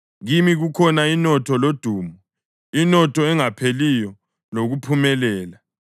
Kimi kukhona inotho lodumo, inotho engapheliyo lokuphumelela.